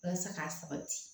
Walasa k'a sabati